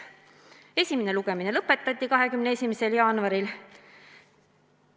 Esimene lugemine lõpetati 21. jaanuaril.